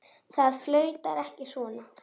Það flautar ekki svona.